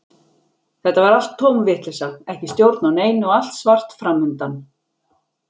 Þetta var allt tóm vitleysa, ekki stjórn á neinu og allt svart fram undan.